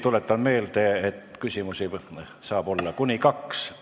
Tuletan meelde, et küsimusi saab olla kuni kaks.